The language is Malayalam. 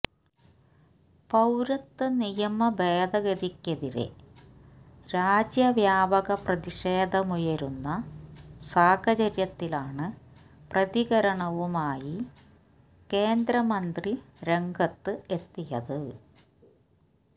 പൌരത്വ നിയമ ഭേദഗതിക്കെതിരെ രാജ്യവ്യാപക പ്രതിഷേധമുയരുന്ന സാഹചര്യത്തിലാണ് പ്രതികരണവുമായി കേന്ദ്രമന്ത്രി രംഗത്ത് എത്തിയത്